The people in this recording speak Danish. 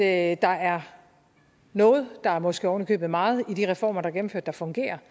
at der er noget der er måske oven i købet meget i de reformer der er gennemført der fungerer